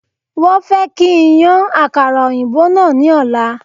Wọ́n fẹ́ kí n yan àkàrà òyìnbó náà ní ọ̀la